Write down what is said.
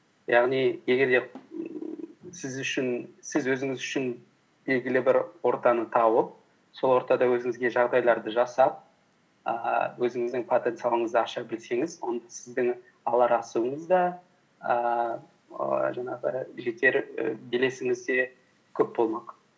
яғни егер де сіз өзіңіз үшін белгілі бір ортаны тауып сол ортада өзіңізге жағдайларды жасап ііі өзіңіздің потенциалыңызды аша білсеңіз онда сіздің алар асуыңыз да ііі жаңағы жетер і белесіңіз де көп болмақ